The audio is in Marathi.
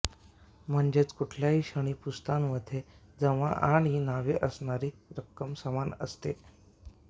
म्हणजेच कुठल्याही क्षणी पुस्तांमध्ये जमा आणि नावे असणारी रक्कम समान असते